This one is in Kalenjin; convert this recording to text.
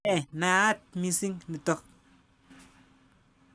Ne naat missing' nitok.